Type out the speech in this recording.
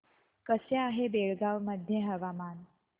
कसे आहे बेळगाव मध्ये हवामान